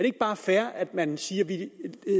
ikke bare fair at man siger at vi